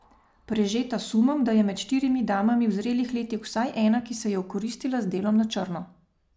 Prežeta s sumom, da je med štirimi damami v zrelih letih vsaj ena, ki se je okoristila z delom na črno.